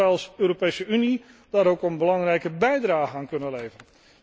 Ik denk dat wij als Europese Unie daar ook een belangrijke bijdrage aan kunnen leveren.